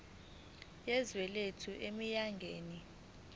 yezwe lethu eminyakeni